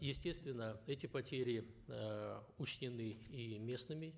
естественно эти потери э учтены и местными